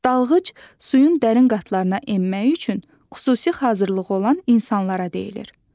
Dalğıc suyun dərin qatlarına enmək üçün xüsusi hazırlığı olan insanlara deyilir.